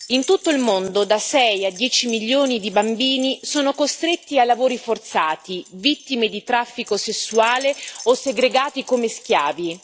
In tutto il mondo da sei a dieci milioni di bambini sono costretti a lavori forzati, vittime di traffico sessuale o segregati come schiavi.